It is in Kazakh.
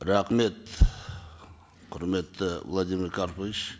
рахмет құрметті владимир карпович